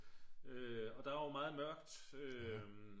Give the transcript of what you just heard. og der er jo meget mørkt